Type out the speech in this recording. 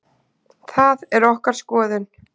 Það er okkar skoðun.